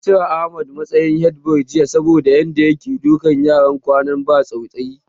An cire Ahmad a matsayin headboy saboda Yadda yake dukan yara ƙanana ba tausayi